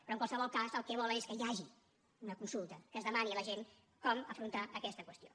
però en qualsevol cas el que volen és que hi hagi una consulta que es demani a la gent com afrontar aquesta qüestió